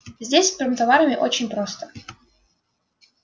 здесь с промтоварами очень просто